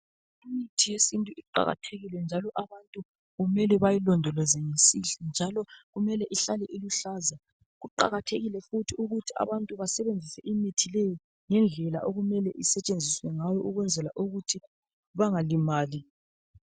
Imithi yesintu iqakathekile njalo abantu kumele bayilondoloze ngesihle njalo kumele ihlale iluhlaza. Kuqakathekile futhi ukuthi abantu basebenzise imithi leyi ngendlela okumele isetshenzise ngayo ukwenzela ukuthi bangalimali.